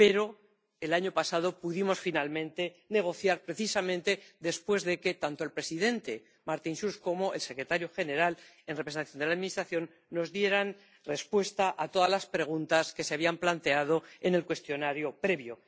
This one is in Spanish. Pero el año pasado pudimos finalmente negociar, precisamente después de que tanto el presidente, Martin Schulz, como el secretario general, en representación de la administración, nos dieran respuesta a todas las preguntas que se habían planteado en el cuestionario previo.